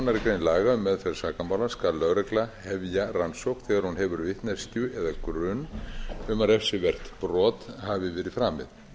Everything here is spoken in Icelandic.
aðra grein laga um meðferð sakamála skal lögregla hefja rannsókn þegar a hefur vitneskju eða grun um að refsivert brot hafi verið framið